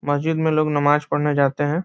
मस्जिद में लोग नमाज पढने जाते हैं।